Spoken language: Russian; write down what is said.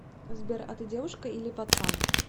сбер а ты девушка или пацан